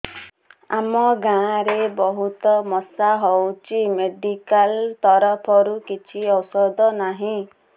ଆମ ଗାଁ ରେ ବହୁତ ମଶା ହଉଚି ମେଡିକାଲ ତରଫରୁ କିଛି ଔଷଧ ନାହିଁ